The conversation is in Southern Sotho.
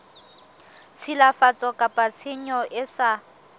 tshilafatso kapa tshenyo e sa